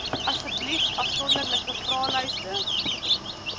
asseblief afsonderlike vraelyste